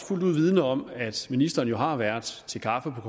fuldt ud vidende om at ministeren har været til kaffe